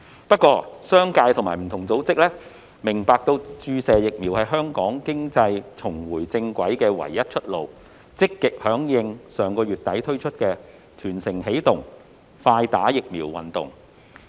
不過，商界及不同組織明白到，注射疫苗是香港經濟重回正軌的唯一出路，所以積極響應上月底推出的"全城起動快打疫苗"運動。